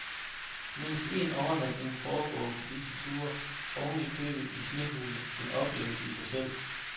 Mindst en overnatning foregår på disse ture oven i købet i snehule, en oplevelse i sig selv.